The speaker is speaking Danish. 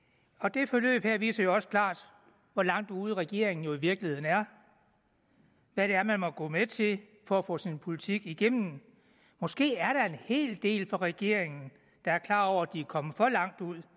det forløb her viser jo også klart hvor langt ude regeringen i virkeligheden er hvad det er man må gå med til for at få sin politik igennem måske er der en hel del fra regeringen der er klar over at de er kommet for langt ud